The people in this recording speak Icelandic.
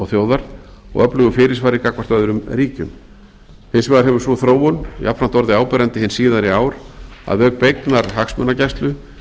þjóðar og öflugu fyrirsvari gagnvart öðrum ríkjum hins vegar hefur sú þróun jafnframt orðið áberandi hin síðari ár að auk beinnar hagsmunagæslu